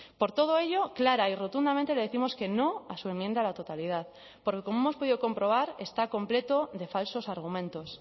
por todo ello clara y rotundamente le décimos que no a su enmienda a la totalidad porque como hemos podido comprobar está completo de falsos argumentos